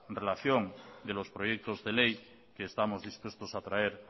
relación de los proyectos de ley que estamos dispuestos a traer